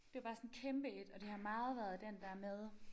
Det var bare sådan kæmpe et og det har meget været den der med